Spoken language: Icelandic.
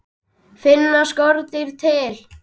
Finna skordýr til?